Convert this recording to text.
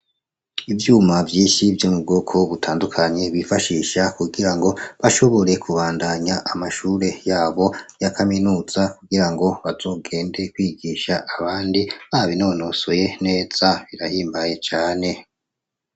Ivyuma vyinshi vyo mu bwoko butandukanye bifashisha kugira ngo bashobore kubandanya amashure yabo ya kaminuza, kugira ngo bazogende kwigisha abandi babinonosoye neza, birahimbaye neza.